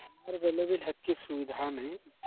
ଆମର ବେଳେ ବି ସେତିକି ସୁବିଧା ନାହିଁ